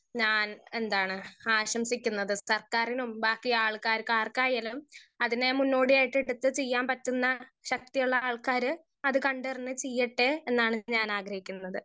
Speaker 1 ഞാൻ എന്താണ് ആശംസിക്കുന്നത് സർക്കാരിനും ബാക്കി ആൾക്കാർക്ക് ആർക്കായാലും അതിന്റെ മുന്നോടിയായിട്ട് ഇതൊക്കെ ചെയ്യാൻ പറ്റുന്ന ശക്തിയുള്ള ആൾക്കാര് അത് കണ്ടറിഞ്ഞ് ചിയ്യട്ടെ എന്നാണ് ഞാൻ ആഗ്രഹിക്കുന്നത്.